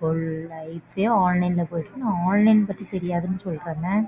full life ஏ online ல போயிட்ருக்கு. நீ Online பத்தி தெரியாதுன்னு சொல்ற என்ன?